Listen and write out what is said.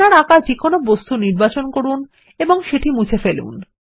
আপনার আঁকা যেকোন বস্তুর নির্বাচন করুন এবং সেটি মুছে ফেলুন